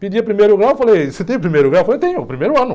Pedia primeiro grau, falei, você tem primeiro grau, falei, tenho, primeiro ano.